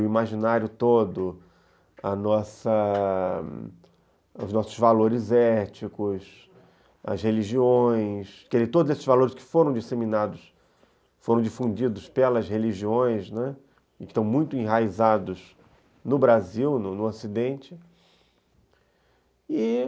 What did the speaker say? o imaginário todo, os nossos valores éticos, as religiões, todos esses valores que foram disseminados, foram difundidos pelas religiões, né, e que estão muito enraizados no Brasil, no Ocidente.